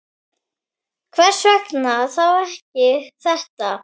Hvers vegna þá ekki þetta?